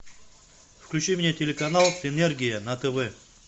включи мне телеканал энергия на тв